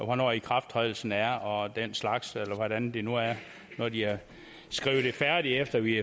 hvornår ikrafttrædelsen er og den slags eller hvordan det nu er da de har skrevet det færdigt efter vi